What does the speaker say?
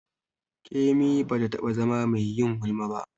Kemi ba ta taɓa zama mai yin gulma ba.